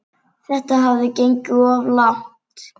Þetta hafði gengið of langt.